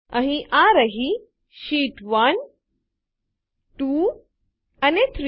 અહીં આ રહી શીટ1 2 અને 3